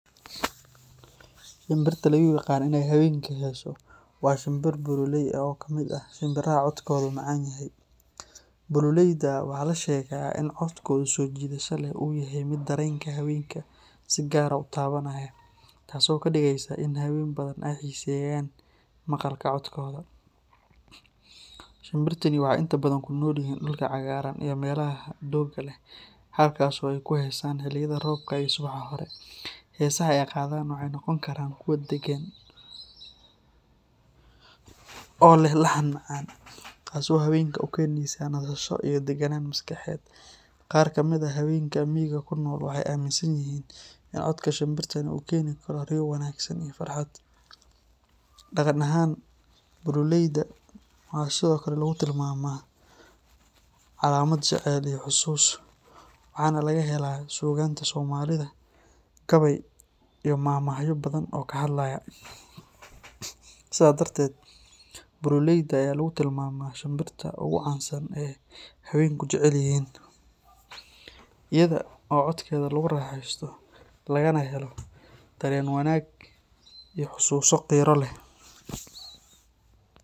Shimbirta lagu yaqaan in ay hawenku hesho waa shinbirta bululeey oo kamid ah shimbiraha codkoodu macaan yahay. Bululeeyda waxaa la sheegaa in codkooda soo jiidashada leh uu yahay mid dareenka haweenka si gaar ah u taabanaya, taasoo ka dhigaysa in haween badan ay xiiseeyaan maqalka codkooda. Shimbirtani waxay inta badan ku nool yihiin dhulka cagaaran iyo meelaha doogga leh, halkaas oo ay ku heesaan xilliyada roobka iyo subaxa hore. Heesaha ay qaadaan waxay noqon karaan kuwo deggan oo leh laxan macaan, taasoo haweenka u keenaysa nasasho iyo deganaan maskaxeed. Qaar kamid ah haweenka miyiga ku nool waxay aaminsan yihiin in codka shimbirtan uu keeni karo riyo wanaagsan iyo farxad. Dhaqan ahaan, bululeeyda waxaa sidoo kale lagu tilmaamaa calaamad jacayl iyo xusuus, waxaana laga helaa suugaanta Soomaalida gabayo iyo maahmaahyo badan oo ka hadlaya. Sidaa darteed, bululeeyda ayaa lagu tilmaamaa shinbirta ugu caansan ee ay haweenku jecel yihiin, iyada oo codkeeda lagu raaxaysto lagana helo dareen wanaag iyo xusuuso qiiro leh.